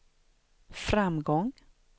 framgång